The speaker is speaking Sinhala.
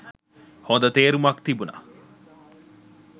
හොඳ තේරුමක් තිබුණ.